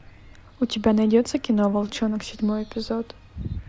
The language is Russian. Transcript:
у тебя найдется кино волчонок седьмой эпизод